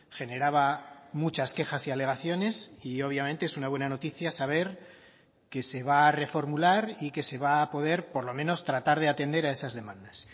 generaba muchas quejas y alegaciones y obviamente es una buena noticia saber que se va a reformular y que se va a poder por lo menos tratar de atender a esas demandas